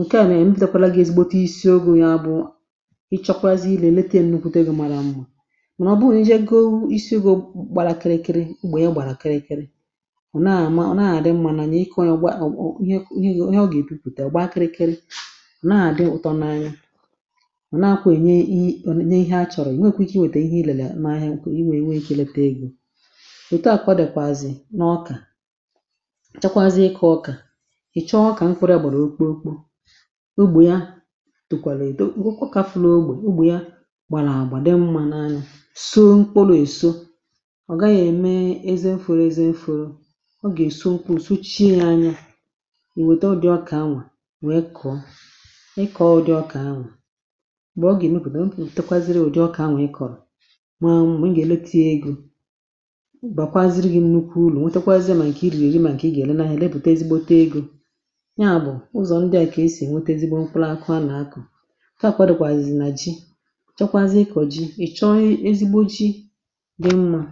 ǹkẹ̀ à ah nà m ntẹkwara gị̇, ezigbote isiogu̇, ya bụ̀ ị chọkwazị ilėlète m n’okwute gị̇ màrà m̀ma. Mà ọ bụrụ ǹjẹ goo, isiogo gbarakịrịkịrị, ugbȯ ya gbarakịrịkịrị eh ọ̀ naà amȧ, ọ̀ naà àdị mmȧ. Nà nà ịkọ̇ onye ọ̀ gbaọọ, ihe onye ọ gà-èbupùpùtè, ọ̀ gbaa kịrịkịrị, naà dị ọ̀tọ n’anya um. Ọ̀ naà kwa ènye ihe a chọ̀rọ̀ ìnwekwu̇ ike, nwète ihe ilėlẹ n’ahịa, iwè iweghịlẹpẹ egom. Ètù à kwà dị̀kwazị n’ọkà ǹchakwazie ịkọ̇ ọkà, ì chọọ ọkà, m fụrụ ya gbàrà okpokpo ugbò ya, tùkwàlà èdo ọ kà flȧ ogbè ugbò ya gbàrà àgbà, dị mmȧ n’anyụ̇. So mkpòlȯ èso eh ọ̀ gaghị̇ ème ezi mfuru, ezi mfuru ọ gà-èso ukwuù, sochie ya anya ì wèta. Ọ dị ọkà anwà, wee kọ̀ọ, ị kọ̀ọ ụdị ọkà anwà, m̀gbè ọ gà-èmupù, nà ǹtekwaziri ụ̀dị ọkà anwà ị kọ̀rọ̀ um. Maa m̀ma, ǹga-èleti egȯ, m̀bàkwaziri gị̇ ṁ nukwu urù nyà, bụ̀ ụzọ̀ ndị à, kà esì ènwete ezigbo mkpụlụakụ. A nà akụ̀ ǹkẹ̀ à kwadùkwà zì nà ji, chọkwazịa ịkọ̀ ji, ì chọọ ezigbo ji dị mmȧ,